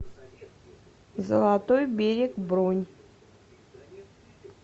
золотой берег бронь